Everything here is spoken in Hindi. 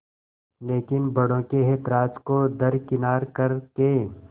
लेकिन बड़ों के ऐतराज़ को दरकिनार कर के